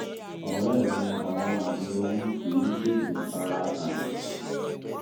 ọ̀rẹ́ mi àwọn àmì oyún kì í oyún kì í tètè fara hàn